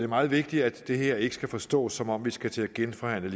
meget vigtigt at det her ikke skal forstås som om vi skal til at genforhandle